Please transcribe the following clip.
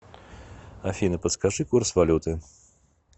афина подскажи курс валюты